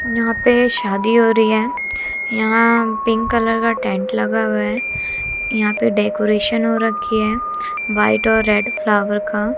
यहां पे शादी हो रही है यहां पिंक कलर का टैंट लगा हुआ है यहां पे डेकोरेशन हो रखी है व्हाईट और रेड फ्लावर का।